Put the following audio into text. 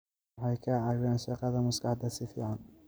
Waxay ka caawiyaan shaqada maskaxda si fiican.